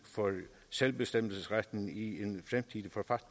for selvbestemmelsesretten i